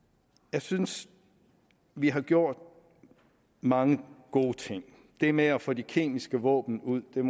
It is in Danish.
jeg synes vi har gjort mange gode ting det med at få de kemiske våben ud vil